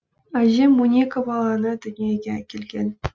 әжем он екі баланы дүниеге әкелген